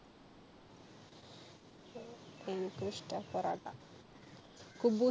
എനിക്കും ഇഷ്ട്ടാ പൊറോട്ട.